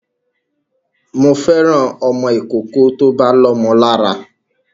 Mo fẹ́ràn ọmọ ìkókó tó bá lómo lára